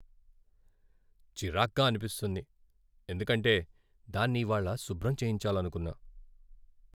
చిరాగ్గా అనిపిస్తుంది ఎందుకంటే దాన్ని ఇవాళ శుభ్రం చేయించాలనుకున్నా.